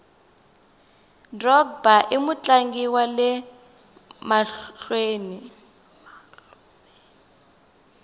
drogba imutlangi wale mahluveni